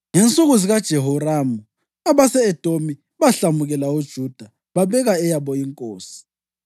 Ngensuku zikaJehoramu, abase-Edomi bahlamukela uJuda babeka eyabo inkosi.